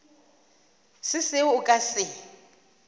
se seo a ka se